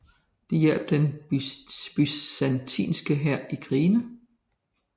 De hjalp den byzantinske hær i krigene